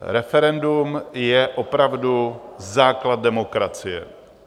Referendum je opravdu základ demokracie.